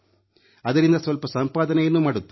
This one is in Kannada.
ಅದರಿಂದ ಸ್ವಲ್ಪ ಸಂಪಾದನೆಯನ್ನೂ ಮಾಡುತ್ತಾನೆ